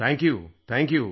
thank you thank you